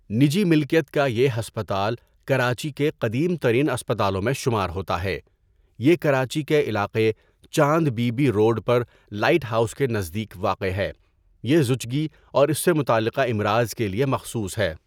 نجی ملکیت کا یہ ہسپتال کراچی کے قدیم ترین اسپتالوں میں شمار ہوتا ہے یہ کراچی کے علاقےچاند بی بی روڈ پر لائٹ ہاؤس کے نزدیک واقع ہے یہ زچگی اور اس سے متعلقہ امراض کے لیے مخصوص ہے.